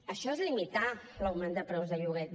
això és limitar l’augment de preus de lloguer